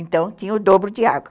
Então tinha o dobro de água.